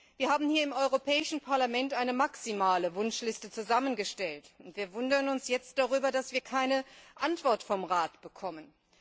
Wir haben im Europäischen Parlament eine maximale Wunschliste zusammengestellt und wundern uns jetzt darüber, dass wir keine Antwort vom Rat bekommen.